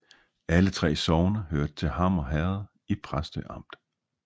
Alle 3 sogne hørte til Hammer Herred i Præstø Amt